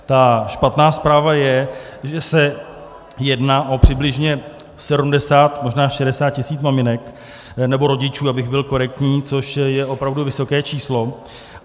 Ta špatná zpráva je, že se jedná o přibližně 70, možná 60 tisíc maminek nebo rodičů, abych byl korektní, což je opravdu vysoké číslo.